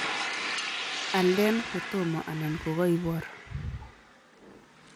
Alde kotomo anan kokaibor